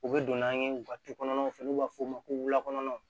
U bɛ don n'an ye u ka du kɔnɔnaw fɛ n'u b'a f'o ma ko wulakonnaw